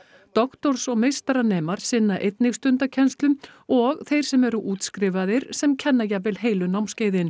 doktors og meistaranemar sinna einnig stundakennslu og þeir sem eru útskrifaðir sem kenna jafnvel heilu námskeiðin